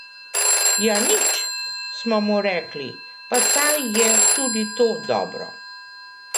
Ja nič, smo mu rekli, pa saj je tudi to dobro.